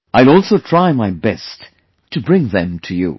I will also try my best to bring them to you